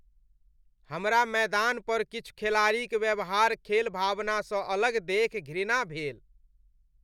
हमरा मैदान पर किछु खेलाड़ीक व्यवहार खेलभावना स अलग देखि घृणा भेल ।